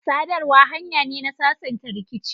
sadarwa hanya ne na sasanta rikici.